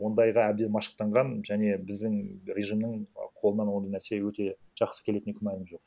ондайға әбден машықтанған және біздің режимнің қолынан ондай нәрсе өте жақсы келетініне күмәнім жоқ